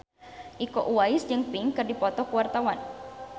Iko Uwais jeung Pink keur dipoto ku wartawan